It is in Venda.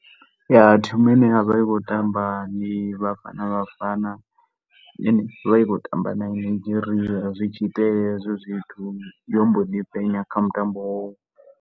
Ya, team ine ya vhori i khou tamba ndi Bafana Bafana, i ne i vha i khou tamba na Nigeria zwi tshi itea hezwo zwithu, yo mbo ḓi fhenya kha mutambo wowo.